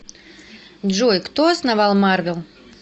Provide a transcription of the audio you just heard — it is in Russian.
джой кто основал марвел